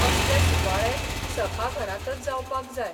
असले सुवाळे सभाघरांतच जावपाक जाय